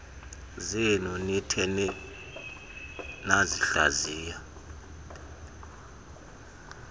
zenu nithe nasihlaziya